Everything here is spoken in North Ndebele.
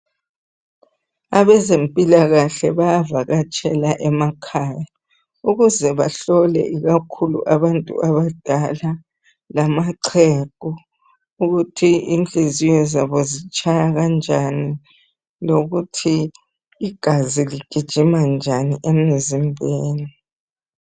Abezempilakahle bayavakatshela emakhaya ukuze bahlole ikakhulu abantu abadala lamaxhegu ukuthi inhliziyo zabo zitshaya kunjani lokuthi igazi ligijima njani emzimbeni